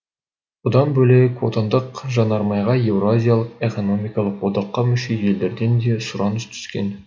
бұдан бөлек отандық жанармайға еуразиялық экономикалық одаққа мүше елдерден де сұраныс түскен